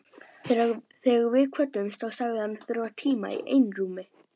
Þegar við kvöddumst þá sagðist hann þurfa tíma í einrúmi.